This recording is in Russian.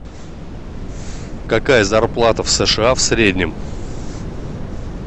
какая зарплата в сша в среднем